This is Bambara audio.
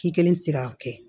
K'i kelen tɛ se k'a kɛ